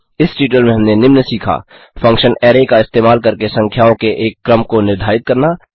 इस ट्यूटोरियल में हमने निम्न सीखा 1फंक्शन अराय का इस्तेमाल करके संख्याओं के एक क्रम को निर्धारित करना